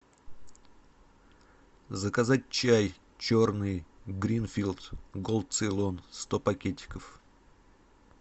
заказать чай черный гринфилд голд цейлон сто пакетиков